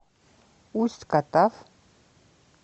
усть катав